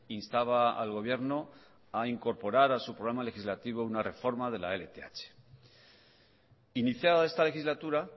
instaba al gobierno a incorporar a su programa legislativo una reforma de la lth iniciada esta legislatura